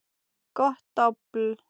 Gott dobl.